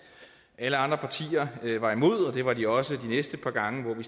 alle andre partier var imod og det var de også det næste par gange hvor vi